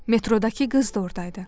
Metroddakı qız da oradaydı.